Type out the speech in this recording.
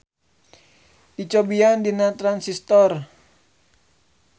Dicobian dina Transistor.